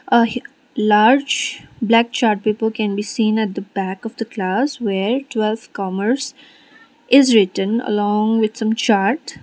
ahe large black chart paper can be seen at the back of the class where twelfth commerce is written along with some chart.